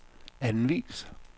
anvis